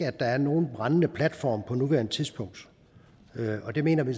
at der er nogen brændende platform på nuværende tidspunkt og det mener vi